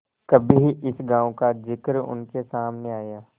कभी इस गॉँव का जिक्र उनके सामने आया